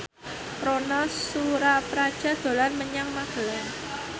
Ronal Surapradja dolan menyang Magelang